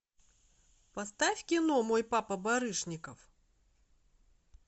поставь кино мой папа барышников